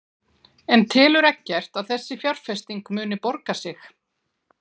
En telur Eggert að þessi fjárfesting muni borga sig?